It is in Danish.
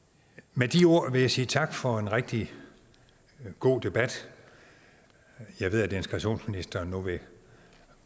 med de ord vil jeg sige tak for en rigtig god debat jeg ved at integrationsministeren nu vil